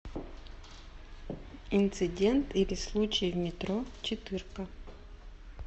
инцидент или случай в метро четырка